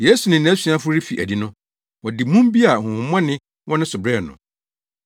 Yesu ne nʼasuafo refi adi no, wɔde mum bi a honhommɔne wɔ ne so brɛɛ no.